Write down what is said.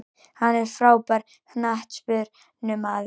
Hann er frábær knattspyrnumaður.